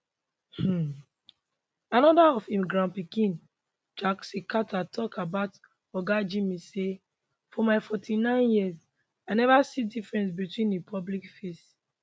um anoda of im grandpikin jason carter tok about oga jimmy say for my 49 years i neva see difference between im public face